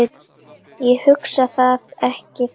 Ég hugsa það ekki þannig.